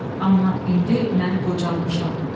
Amma indi mən qocalmışam.